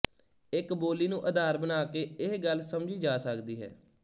ਇੱਕ ਬੋਲੀ ਨੂੰ ਆਧਾਰ ਬਣਾ ਕੇ ਇਹ ਗੱਲ ਸਮਝੀ ਜਾ ਸਕਦੀ ਹੈ